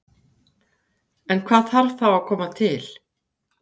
En hvað þarf þá að koma til?